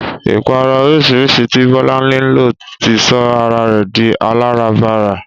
Ìpara oríṣiríṣi tí Bọ́láńlé lò ti sọ ara rẹ̀ di aláràbarà